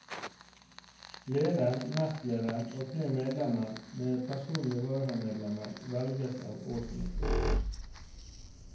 Leder, nestleder og tre medlemmer med personlige varamedlemmer velges av årsmøtet.